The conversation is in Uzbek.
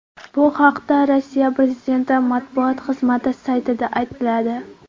Bu haqda Rossiya prezidenti matbuot xizmati saytida aytiladi .